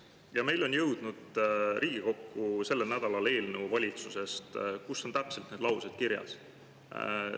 Ja meil on sellel nädalal jõudnud valitsusest Riigikokku eelnõu, kus on täpselt need laused kirjas.